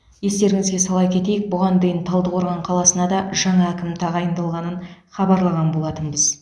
естеріңізге сала кетейік бұған дейін талдықорған қаласына да жаңа әкім тағайындалғанын хабарлаған болатынбыз